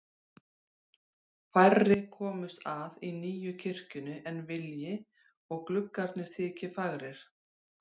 Færri komist að í nýju kirkjunni en vilji og gluggarnir þyki fagrir.